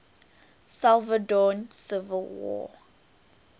salvadoran civil war